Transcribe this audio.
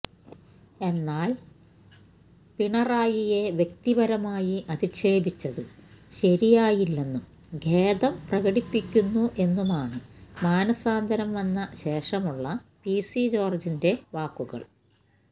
എന്നാല് പിണറായിയെ വ്യക്തിപരമായി അധിക്ഷേപിച്ചത് ശരിയായില്ലെന്നും ഖേദം പ്രകടിപ്പിക്കുന്നു എന്നുമാണ് മാനസാന്തരം വന്ന ശേഷമുളള പിസി ജോര്ജിന്റെ വാക്കുകള്